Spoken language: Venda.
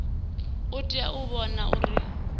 u itela u vhona uri